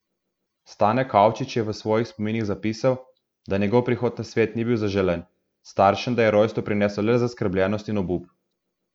Stane Kavčič je v svojih spominih zapisal, da njegov prihod na svet ni bil zaželen, staršem da je rojstvo prineslo le zaskrbljenost in obup.